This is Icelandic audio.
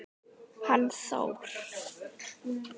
Hann Þór?